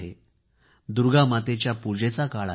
माता दुर्गाच्या पूजेचा काळ आहे